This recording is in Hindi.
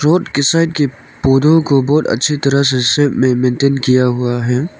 बोर्ड की साइड के पौधों को बहुत अच्छी तरह से बैडमिंटन किया हुआ है।